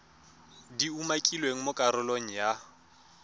di umakilweng mo karolong ya